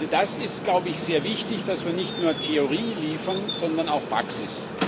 Es ist, glaube ich, sehr wichtig, dass wir nicht nur Theorie liefern, sondern auch Praxis.